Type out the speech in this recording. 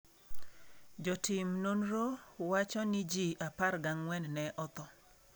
Jotim nonro wacho ni ji 14 ne otho.